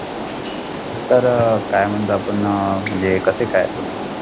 Sir अह काय म्हणजे आपण अह म्हणजे कसं काय तुम्ही?